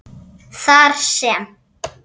þar sem